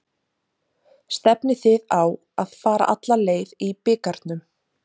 Stefnið þið á að fara alla leið í bikarnum?